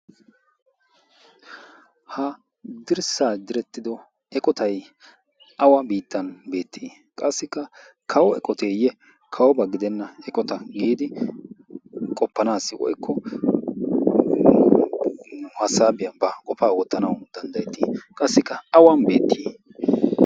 Ha dirssaa direttido eqotay awa biittan beettii? Qassikka kawo eqoteeyye kawoba gidenna eqota giidi qoppanaassi oikko u hassaabiyaa baa qofaa oottanau danddayettii? Qassikka awan beettii?